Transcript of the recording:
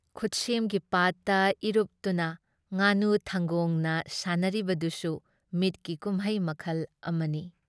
ꯈꯨꯠꯁꯦꯝꯒꯤ ꯄꯥꯠꯇ ꯏꯔꯨꯞꯇꯨꯅ ꯉꯥꯅꯨ ꯊꯪꯒꯣꯡꯅ ꯁꯥꯟꯅꯔꯤꯕꯗꯨꯁꯨ ꯃꯤꯠꯀꯤ ꯀꯨꯝꯃꯩ ꯃꯈꯜ ꯑꯃꯅꯤ ꯫